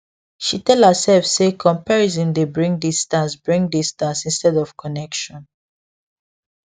she tell herself say comparison dey bring distance bring distance instead of connection